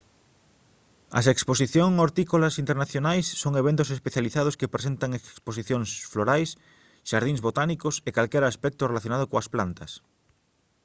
as exposición hortícolas internacionais son eventos especializados que presentan exposicións florais xardíns botánicos e calquera aspecto relacionado coas plantas